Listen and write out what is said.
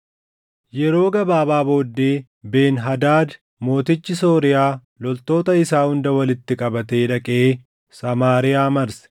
Yeroo gabaabaa booddee, Ben-Hadaad mootichi Sooriyaa loltoota isaa hunda walitti qabatee dhaqee Samaariyaa marse.